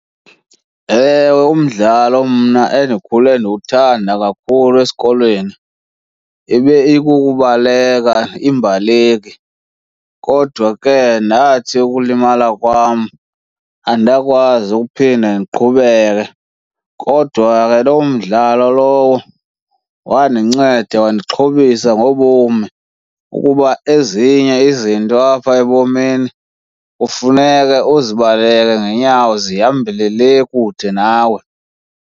Ewe, umdlalo mna endikhule ndiwuthanda kakhulu esikolweni, ibe ikukubaleka, imbaleki. Kodwa ke ndathi ukulimala kwam andakwazi ukuphinda ndiqhubeke. Kodwa ke loo mdlalo lowo wandinceda wandixhobisa ngobomi kuba ezinye izinto apha ebomini, kufuneka uzibaleke ngenyawo zihambele le kude nawe.